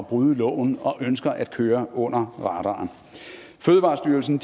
bryde loven og ønsker at køre under radaren fødevarestyrelsen